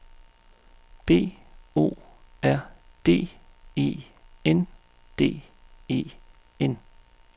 B O R D E N D E N